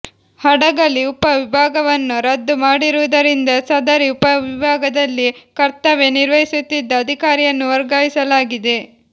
ಹಡಗಲಿ ಉಪ ವಿಭಾಗವನ್ನು ರದ್ದುಮಾಡಿರುವುದರಿಂದ ಸದರಿ ಉಪವಿಭಾಗದಲ್ಲಿ ಕರ್ತವ್ಯ ನಿರ್ವಹಿಸುತ್ತಿದ್ದ ಅಧಿಕಾರಿಯನ್ನು ವರ್ಗಾಯಿಸಲಾಗಿದೆ